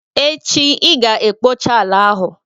Echi i ga-ekpocha ala ahụ!